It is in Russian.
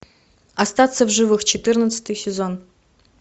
остаться в живых четырнадцатый сезон